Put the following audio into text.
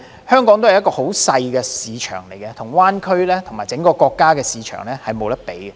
香港畢竟是一個小市場，無法與灣區和整個國家的市場相比。